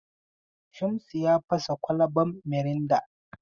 Shamsu ya fasa kwalaban mirinda.